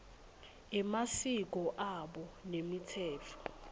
emasiko abo nemitsetfo